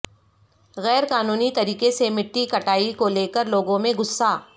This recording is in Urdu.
غیر قانونی طریقے سےمٹی کٹائی کو لے کر لوگوں میں غصہ